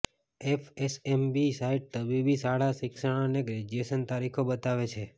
FSMB site તબીબી શાળા શિક્ષણ અને ગ્રેજ્યુએશન તારીખો બતાવે છે